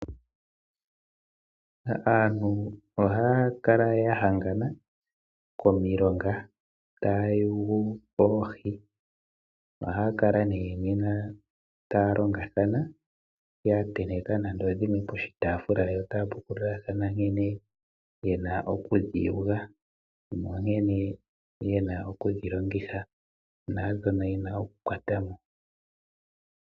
Aantu ohaya kala ya hangana komilonga taa yugu oohi. Ohaya kala nee nena taya longathana, ya tenteka nande odhimwe poshiitaafula yo taya pukululathana nkene yena okudhi vula, nankene yena okudhi longitha, naadhoka yena okukwata mo.